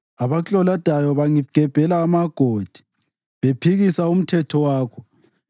Abaklolodayo bangigebhela amagodi, bephikisa umthetho wakho.